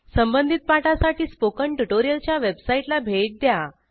संबंधित पाठासाठी स्पोकन ट्युटोरियलच्या वेबसाईटला भेट द्या